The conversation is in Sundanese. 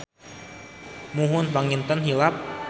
Muhun panginten hilap.